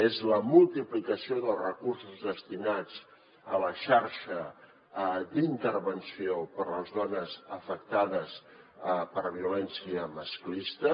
és la multiplicació dels recursos destinats a la xarxa d’intervenció per a les dones afectades per violència masclista